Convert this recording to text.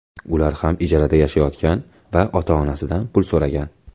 Ular ham ijarada yashagan va ota-onasidan pul so‘ragan.